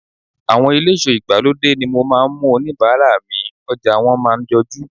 Àwọn eléso ìgbàlódé ni mo máa ń mú oníbàárà mi, ọjà wọn máa ń jojú.